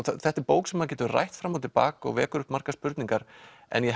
þetta er bók sem maður getur rætt fram og til baka og vekur upp margar spurningar en ég